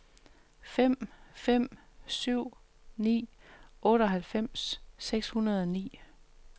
fem fem syv ni otteoghalvfems seks hundrede og ni